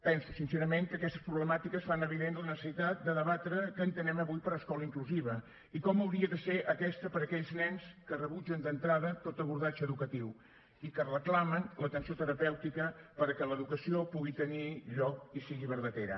penso sincerament que aquestes problemàtiques fan evident la necessitat de debatre què entenem avui per escola inclusiva i com hauria de ser aquesta per a aquells nens que rebutgen d’entrada tot abordatge educatiu i que reclamen l’atenció terapèutica perquè l’educació pugui tenir lloc i sigui vertadera